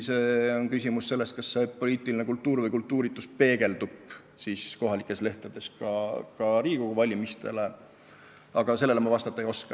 See on küsimus sellest, kas poliitiline kultuur või kultuuritus kajastub kohalikes lehtedes ka Riigikogu valimiste puhul, aga sellele ma praegu vastata ei oska.